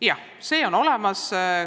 Jah, see kõik on olemas.